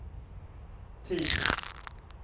tid